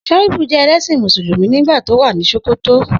Shaibu jẹ ẹlẹ́ṣin Mùsùlùmí nígbà tí ó wà ní Sòkòtò.